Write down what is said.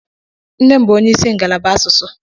Nne m bú onye ịsị ngalaba asụsụ.